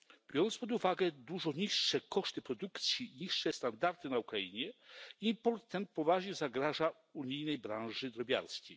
Biorąc pod uwagę dużo niższe koszty produkcji, niższe standardy na Ukrainie, import ten poważnie zagraża unijnej branży drobiarskiej.